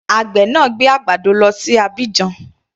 Àgbè náà gbé àgbàdo lọ sí Abidjan.